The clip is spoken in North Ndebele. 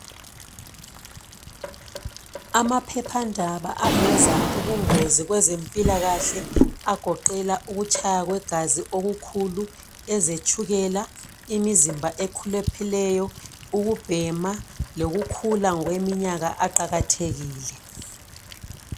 Amaphephandaba aveza ubungozi kwezempilakahle agoqela ukutshaya kwegazi okukhulu, ezetshukela, imizimba e khulupheleyo ukubhema loku khula ngokweminyaka awakathekile